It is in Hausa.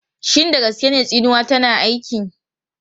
Shin da gaske ne tsinuwa tana aiki?